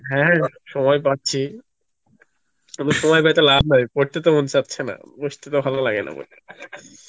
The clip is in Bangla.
হ্যাঁ সময় পাচ্ছি, শুধু সময় পেয়ে তো ল্যাব নাই পড়তে তো মন চাচ্ছে না বসতে তো ভালো লাগে না